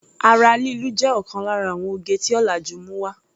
Ara lílu jé òkan lára àwon oge tí ọ̀làjú mú wá.